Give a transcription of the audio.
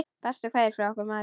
Bestu kveðjur frá okkur Marie.